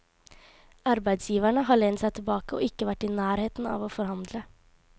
Arbeidsgiverne har lent seg tilbake og ikke vært i nærheten av å forhandle.